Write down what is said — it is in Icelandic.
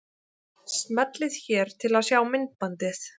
Smellið hér til að sjá myndbandið.